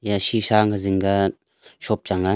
yaa shisha ang ka zingga shop chang ah.